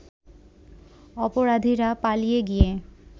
অপরাধীরা পালিয়ে গিয়ে